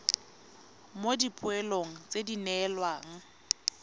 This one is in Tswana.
mo dipoelong tse di neelwang